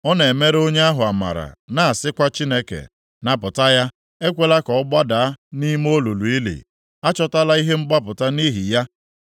ọ na-emere onye ahụ amara, na-asịkwa Chineke, ‘Napụta ya, ekwela ka ọ gbadaa nʼime olulu ili; achọtala ihe mgbapụta nʼihi ya.